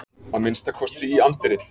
Að minnsta kosti í anddyrið.